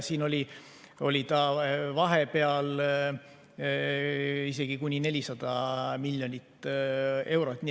See oli vahepeal isegi umbes 400 miljonit eurot.